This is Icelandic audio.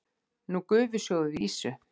Nú gufusjóðum við ýsu.